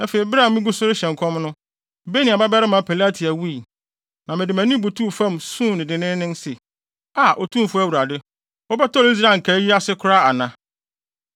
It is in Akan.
Afei bere a migu so rehyɛ nkɔm no, Benaia babarima Pelatia wui. Na mede mʼanim butuw fam suu dennen se, “Aa, Otumfo Awurade, wobɛtɔre Israel nkae yi ase koraa ana?”